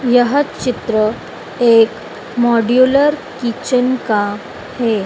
यह चित्र एक मॉड्यूलर किचन का है।